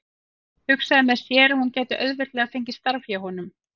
Hugsaði með sér að hún gæti auðveldlega fengið starf hjá honum.